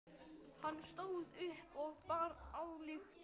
Hann stóð upp og bar ályktun undir atkvæði.